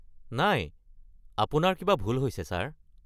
নাই, আপোনাৰ কিবা ভুল হৈছে, ছাৰ।